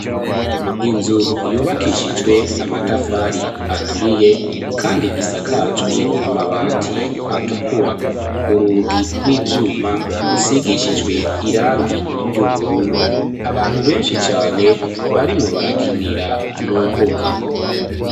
Inzu yubakishijwe amatafari aturiye, kandi isakajwe amabati atukura urugi rw'ivyuma rusigishijwe irangi ry'ubururu abantu benshi cane barimwo barakinira mu mbuga.